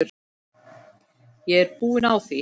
Ég er búin á því.